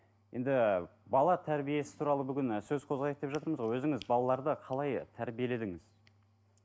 енді бала тәрбиесі туралы бүгін сөз қозғайық деп жатырмыз ғой өзіңіз балаларды қалай тәрбиеледіңіз